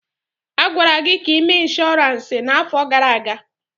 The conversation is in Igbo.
A gwara gị ka ị mee inshọransi n'afọ gara aga.